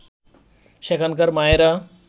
সেখানকার মায়েরা